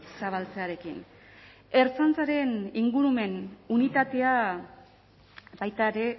zabaltzearekin ertzaintzaren ingurumen unitatea baita ere